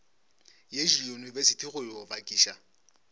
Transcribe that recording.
ye diyunibesithi go yo bakiša